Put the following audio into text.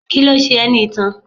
Kíló ṣe ẹ́ ní itan?